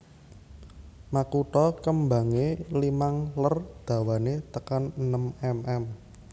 Makutha kembangé limang ler dawané tekan enem mm